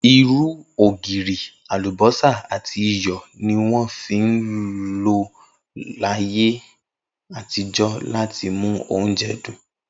Irú, ògirì, àlùbó̩sà àti iyò̩ ni wó̩n ń lò láyé àtijó̩ láti mú oúnje̩ dùn